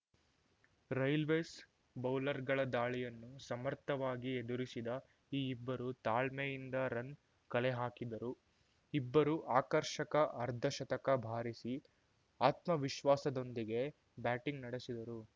railways ಬೌಲರ್‌ಗಳ ದಾಳಿಯನ್ನು ಸಮರ್ಥವಾಗಿ ಎದುರಿಸಿದ ಈ ಇಬ್ಬರು ತಾಳ್ಮೆಯಿಂದ ರನ್‌ ಕಲೆಹಾಕಿದರು ಇಬ್ಬರೂ ಆಕರ್ಷಕ ಅರ್ಧಶತಕ ಬಾರಿಸಿ ಆತ್ಮವಿಶ್ವಾಸದೊಂದಿಗೆ ಬ್ಯಾಟಿಂಗ್‌ ನಡೆಸಿದರು